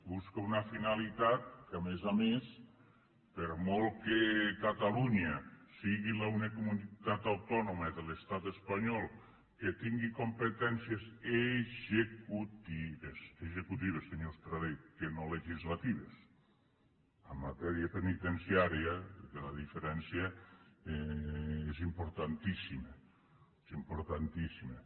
busca una finalitat que a més a més per molt que catalunya sigui l’única comunitat autònoma de l’estat espanyol que tingui competències executives executives senyor estradé que no legislatives en matèria penitenciària perquè la diferència és importantíssima és importantíssima